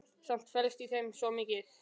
Samt felst í þeim svo mikið.